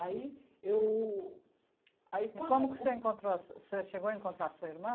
Aí eu... aí quando... E como que você encontrou a su, o senhor chegou a encontrar a sua irmã?